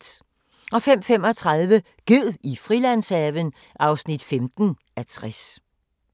05:35: Ged i Frilandshaven (15:60)